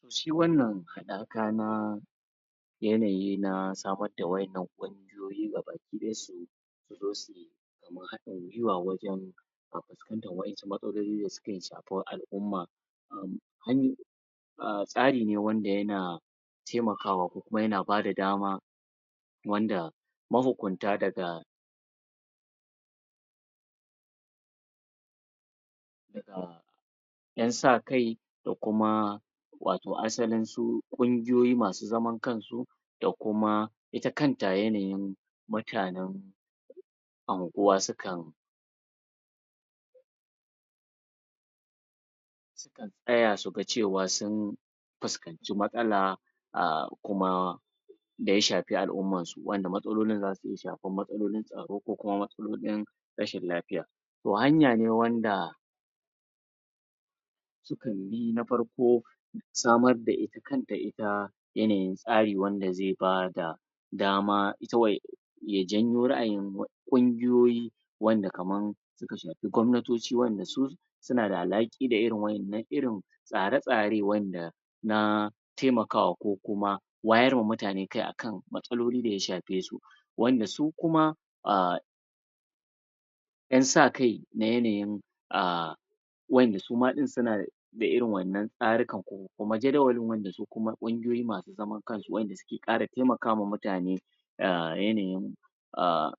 to shi wannan haɗaka yanayi na samar da wa'yannan ƙungiyoyi gabaki ɗaya su su zo sui kamar haɗin guiwa wajen fuskantar wa'yansu matsaloli da suka shafi al'umma? a tsari ne wanda yana taimkawa ko kuma yana bada dama wanda ma hukunta daga daga 'yan sa kai da kuma wato asalin su ƙungiyoyi masu zaman kansu da kuma ita kanta yanayin mutanen anguwa sukan sukan tsaya su ga cewa sun fuskanci mastala a kuma da ya shafi al'ummarsu wanda matsalolin za su iya shafar matsalolin tsaro ko kuma matsalolin rashin lafiya to hanya ne wanda sukan bi na farko samar da ita ita yanayin tsari wanda zai bada dama ita ya janyo ra'ayin ƙungiyoyi wanda kamar suka shafi gwamnatoci wanda suna da alhaki da irin waɗannan irin tsare-tsare wa'yanda na taimakwa ko kuma wayarwa mutane kai akan matsalolin da ya shafe su wanda su kuma a 'yan sa kai da yanayin a wa'yanda suma ɗin suna da da irin wa'yannan tsaruka ko kuma jadawalin wanda su kuma ƙungiyoyi masu zaman kansu wa'yanda ƙara taimaka ma mutane a yanayin a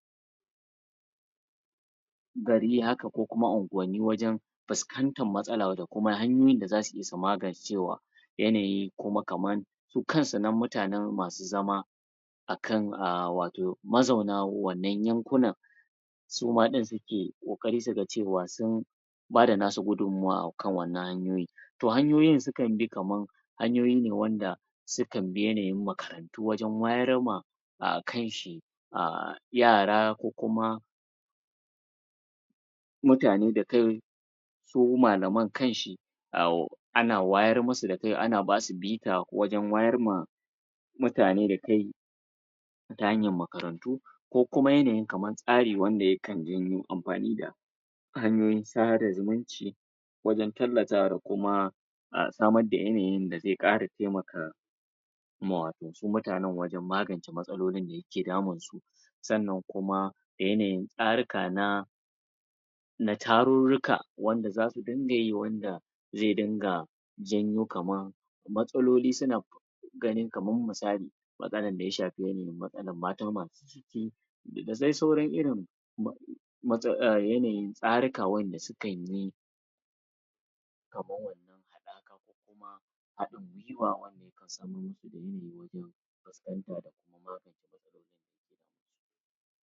gari haka ko kuma unguwanni wajen fuskantar matsalar da kuma hanyar da za su iya su magancewa yanayi ko ma kama su kansu nan mutanen masu zama akan a wato mazauna wannan yankunan suma ɗin suke ƙoƙari suga cewa sun bada na su gudummawa akan wannan to hanyoyin sukan bi kaman hanyoyi ne wanda sukan bi yanayin makarantu wajen wayar ma a kai shi a yara ko kuma mutane da kai su malaman kanshi a ana wayar musu da kai ana basu bita ko wajen wayar ma mutane da kai ta hanyar makarantu ko kuma yanayin kamar tsarin wanda ya kan janyo amfani da hanyoyin sada zuminci wurin killatawa da kuma samar da yanayin da zai ƙara taimaka ma wato su mutanen wajen magance matsalolin da yake damunsu sannan kuma da yanayin tsaruka na na tarurruka wanda za su dinga yi wanda zai dinga janyo kaman matsaloli suna ganin kaman misali maganan da ya shafi yanayin mata masu ciki da dai sauran irin mats a yanayi tsaruka wa'yanda sukai yi kamar wannan haɗaka ko kuma haɗin guiwa wanda yakan samar musu da yanayi wajen fuskanta da kuma magance matsalolin da yake damunsu